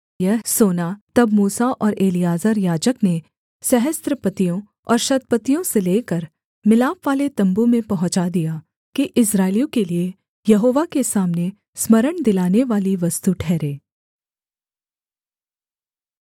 यह सोना मूसा और एलीआजर याजक ने सहस्त्रपतियों और शतपतियों से लेकर मिलापवाले तम्बू में पहुँचा दिया कि इस्राएलियों के लिये यहोवा के सामने स्मरण दिलानेवाली वस्तु ठहरे